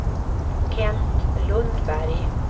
Kent Lundberg